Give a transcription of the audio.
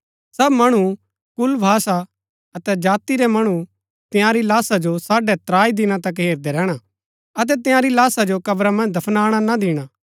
सब मणु कुल भाषा अतै जाति रै मणु तंयारी लाशा जो साढ़ै त्राई दिना तक हेरदै रैहणा अतै तंयारी लाशा जो क्रबा मन्ज दफनाणा ना दिणा